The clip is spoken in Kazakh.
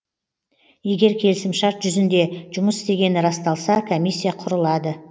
егер келісімшарт жүзінде жұмыс істегені расталса комиссия құрылады